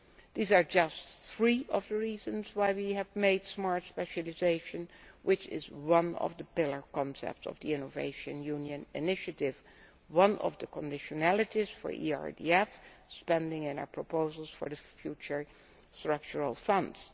These are just three of the reasons why we have made Smart Specialisation, which is one of the pillar concepts of the Innovation Union initiative, one of the conditionalities for ERDF spending in our proposals for the future Structural Funds.